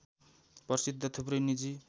प्रसिद्ध थुप्रै निजी